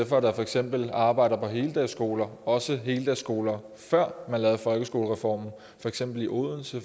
for eksempel arbejder på heldagsskoler også heldagsskoler før man lavede folkeskolereformen for eksempel i odense